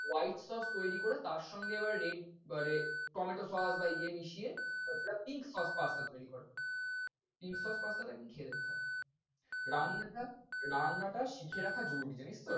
white sauce তৈরী করে তার সঙ্গে আবার red বা red tomato sauce বা ইয়ে মিশিয়ে pink sauce pasta তৈরী করে। pink sauce pasta টা একদিন খেয়ে দেখতে হবে। রান্নাটা রান্নাটা শিখে রাখা জরুরী জানিস তো।